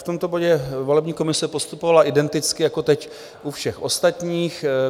V tomto bodě volební komise postupovala identicky jako teď u všech ostatních.